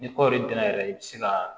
Ni kɔɔri dun na yɛrɛ i bɛ se ka